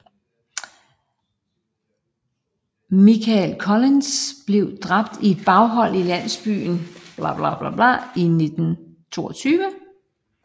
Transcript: Michael Collins blev dræbt i et baghold i landsbyen Béal na mBláth i august 1922